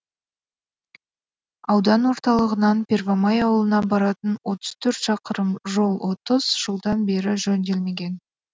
аудан орталығынан первомай ауылына баратын отыз төрт шақырым жол отыз жылдан бері жөнделмеген